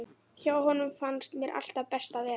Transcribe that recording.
Hjá honum fannst mér alltaf best að vera.